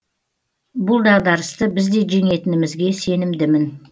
бұл дағдарысты біз де жеңетінімізге сенімдімін